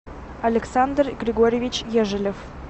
александр григорьевич ежелев